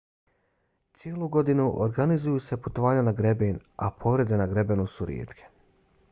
cijelu godinu organiziraju se putovanja na greben a povrede na grebenu su rijetke